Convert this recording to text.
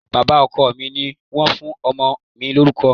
Bàbá ọkọ mi ni wọ́n fún ọmọ mi lórúkọ